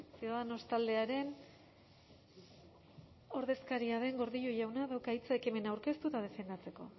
ciudadanos taldearen ordezkaria den gordillo jaunak dauka hitza ekimena aurkeztu eta defendatzeko